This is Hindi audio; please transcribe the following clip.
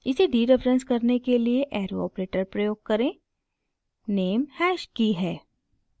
इसे डीरेफरेंस करने के लिए एरो ऑपरेटर > प्रयोग करें name हैश की है